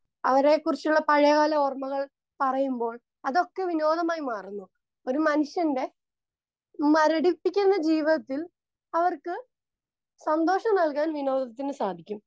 Speaker 2 അവരെക്കുറിച്ചുള്ള പഴയകാല ഓർമ്മകൾ പറയുമ്പോൾ അതൊക്കെ വിനോദമായി മാറുന്നു. ഒരു മനുഷ്യന്റെ മരടിപ്പിക്കുന്ന ജീവിതത്തിൽ അവർക്ക് സന്തോഷം നൽകാൻ വിനോദത്തിന് സാധിക്കും.